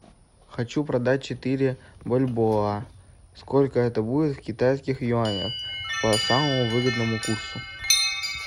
хочу продать четыре бальбоа сколько это будет в китайских юанях по самому выгодному курсу